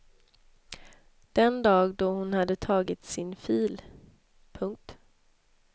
Den dag då hon hade tagit sin fil. punkt